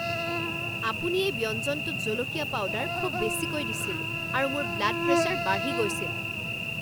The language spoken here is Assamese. আপুনি এই ব্যঞ্জনটোত জলকীয়া পাউডাৰ খুব বেছিকৈ দিছিল আৰু মোৰ ব্লাড প্ৰেছাৰ বাঢ়ি গৈছিল।